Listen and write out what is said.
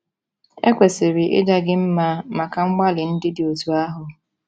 E kwesịrị ịja gị mma maka mgbalị ndị dị otú ahụ.